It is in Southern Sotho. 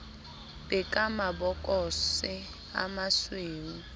be ka mabokose a masweu